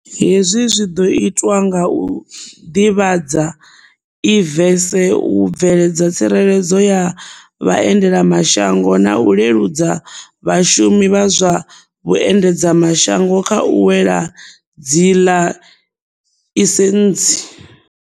Hezwi zwi ḓo itwa nga u ḓivhadza e-visas, u bveledza tsireledzo ya vhaendelamashango na u leludzela vhashumi vha zwa vhuendedza mashango kha u wana dziḽaisentsi.